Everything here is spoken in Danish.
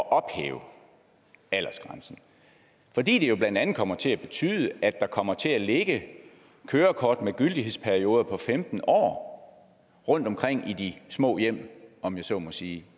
at ophæve aldersgrænsen fordi det jo blandt andet kommer til at betyde at der kommer til at ligge kørekort med gyldighedsperioder på femten år rundtomkring i de små hjem om jeg så må sige